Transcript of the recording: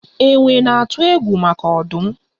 Enwe na-atụ egwu maka ọdụm